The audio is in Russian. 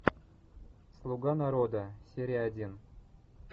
слуга народа серия один